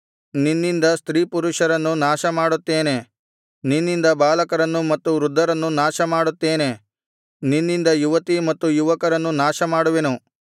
ನಿನ್ನಿಂದ ಸ್ತ್ರೀಪುರುಷರನ್ನು ನಾಶಮಾಡುತ್ತೇನೆ ನಿನ್ನಿಂದ ಬಾಲಕರನ್ನು ಮತ್ತು ವೃದ್ಧರನ್ನು ನಾಶ ಮಾಡುತ್ತೇನೆ ನಿನ್ನಿಂದ ಯುವತೀ ಮತ್ತು ಯುವಕರನ್ನು ನಾಶಮಾಡುವೆನು